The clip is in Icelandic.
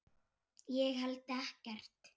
Ég held ekkert.